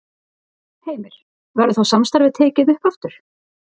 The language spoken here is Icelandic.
Heimir: Verður þá samstarfið tekið upp aftur?